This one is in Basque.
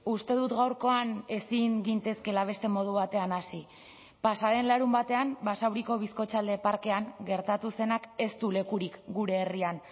uste dut gaurkoan ezin gintezkeela beste modu batean hasi pasa den larunbatean basauriko bizkotxalde parkean gertatu zenak ez du lekurik gure herrian